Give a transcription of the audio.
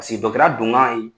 Pasiki dɔtɔrɔya don kan ye